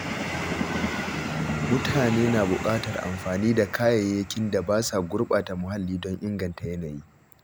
Mutane na buƙatar amfani da kayayyakin da ba sa gurɓata muhalli don inganta yanayi